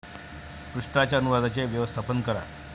पृष्ठाच्या अनुवादाचे व्यवस्थापन करा